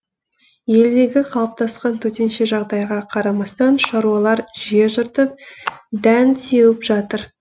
елдегі қалыптасқан төтенше жағдайға қарамастан шаруалар жер жыртып дән сеуіп жатыр